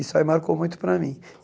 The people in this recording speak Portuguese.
Isso aí marcou muito para mim.